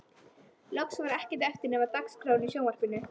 Loks var ekkert eftir nema dagskráin í sjónvarpinu